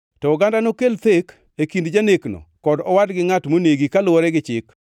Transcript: to oganda nokel thek e kind janekno kod owadgi ngʼat monegi kaluwore gi chik.